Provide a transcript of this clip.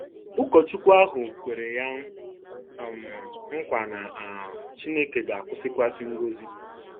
Ụkọchukwu ahụ kwere ya um nkwa na um Chineke ga-awụkwasị ngọzi.